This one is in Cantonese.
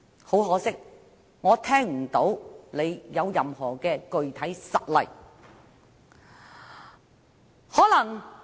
很可惜，我聽不到他提出任何具體實例。